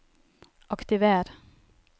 aktiver